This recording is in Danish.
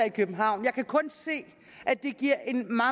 i københavn jeg kan kun se at det giver